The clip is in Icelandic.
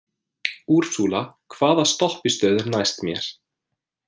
Úrsúla, hvaða stoppistöð er næst mér?